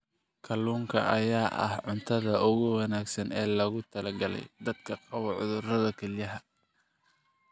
Kalluunka ayaa ah cuntada ugu wanaagsan ee loogu talagalay dadka qaba cudurrada kelyaha.